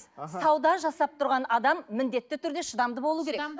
аха сауда жасап тұрған адам міндетті түрде шыдамды болуы керек